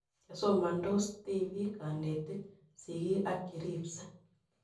Chesomansots , tipik, kanetik, sigik ak cheripsei